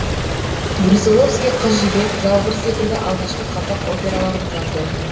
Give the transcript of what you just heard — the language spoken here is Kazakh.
брусиловский қыз жібек жалбыр секілді алғашқы қазақ операларын жазды